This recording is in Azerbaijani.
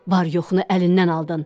Var yoxunu əlindən aldın.